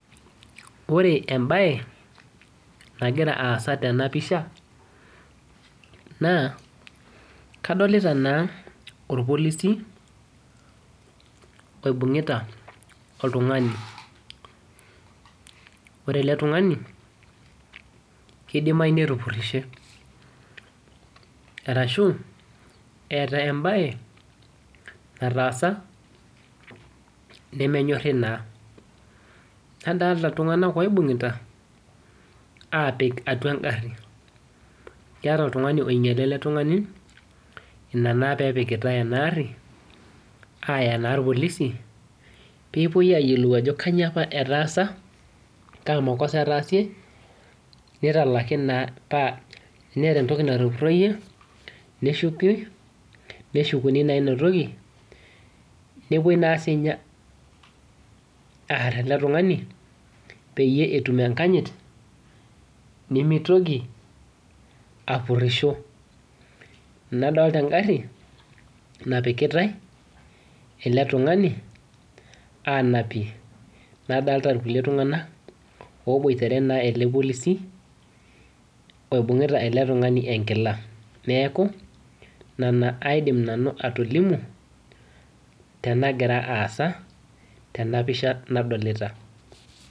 Ore ebaye nagira aasa tana pishaa naa kadolita naa olpolisi oibung'itaa oltung'ani. Ore ele ltung'ani keidimaii netupurishee arushu eitaai ebaye nataasa nemee nyoori naa. Nadolita ltung'anak oibung'itaa apiik atua nkaari. Keetai ltung'ani onyaala ele ltung'ani enia naa pee ipikitaa ana aari ayaa naa ilpolisi pee eepoi eiyeloo ajoo kajoo apaa etaasa, kaa mokosa aitaasie neitalaaki naa paa teneeta ntokii natuupuroyie neishuuki. Neishukuni naa enia ntokii nepoo naa sii nyaa aar ele ltung'ani pee iyee eitumie nkaanyit nemeitooki apuruisho. Nadolita enkaari napikiitai ele ltung'ani anaapie. Nadolita ilkulee ltung'anak obuatere naa elee lpolisi oibung'ita ele ltung'ani eng'ilaa. Neeku nena aidiim nanu atoliimu tena giraa aasa tena pishaa nadolita.